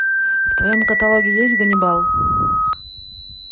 в твоем каталоге есть ганнибал